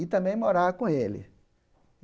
e também morar com ele.